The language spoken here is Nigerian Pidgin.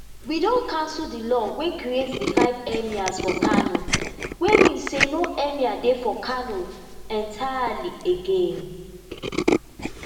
we don cancel di law wey create di five emirs for kano wey mean say no emir dey for kano entirely again